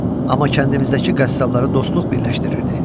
Amma kəndimizdəki qəssabları dostluq birləşdirirdi.